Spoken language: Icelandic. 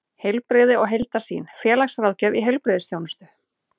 Heilbrigði og heildarsýn: félagsráðgjöf í heilbrigðisþjónustu.